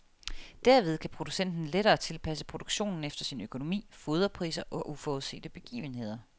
Derved kan producenten lettere tilpasse produktionen efter sin økonomi, foderpriser og uforudsete begivenheder.